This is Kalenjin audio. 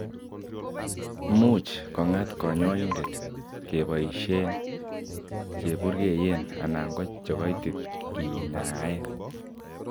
much kong'at kanyoindet kepoisyen cheburgeyen anan ko che kaitit kenyaen